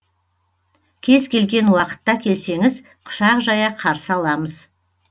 кез келген уақытта келсеңіз құшақ жая қарсы аламыз